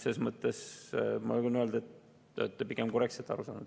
Selles mõttes ma julgen öelda, et te olete korrektselt aru saanud.